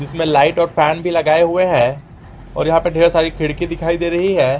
इसमें लाइट और फैन भी लगाए हुए हैं और यहां पर ढेर सारी खिड़की दिखाई दे रही है।